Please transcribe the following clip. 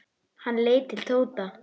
Hann leit til Tóta.